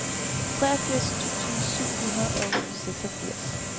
treogfirs tusind syv hundrede og seksogfirs